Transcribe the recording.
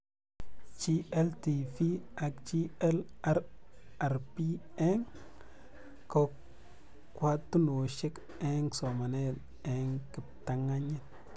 GLTV ak GLRRP eng' kokwatunoshek eng' somanet eng' Kiptanganyit